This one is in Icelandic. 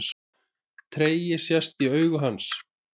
Tregi sest í augu hans.